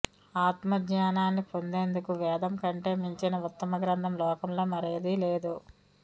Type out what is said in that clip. ఆత్మజ్ఞానాన్ని పొందేందుకు వేదం కంటె మించిన ఉత్తమ గ్రంథం లోకంలో మరేదీ లేదు